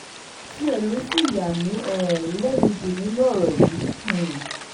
tiẹ̀ ló ṣì yà mí um lẹ́nu jù nínú ọ̀rọ̀ yìí um